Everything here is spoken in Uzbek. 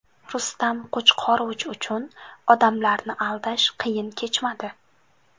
Rustam Qo‘chqorov uchun odamlarni aldash qiyin kechmadi.